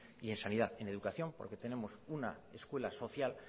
y en sanidad en educación porque tenemos una escuela social